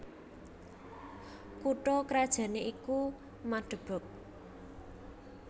Kutha krajané iku Magdeburg